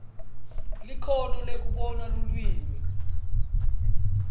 likhono lekubona lulwimi